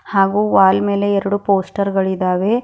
ಹಾಗೂ ವಾಲ್ ಮೇಲೆ ಎರಡು ಪೋಸ್ಟರ್ಗಳಿದವೆ.